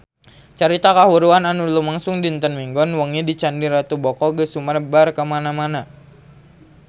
Carita kahuruan anu lumangsung dinten Minggon wengi di Candi Ratu Boko geus sumebar kamana-mana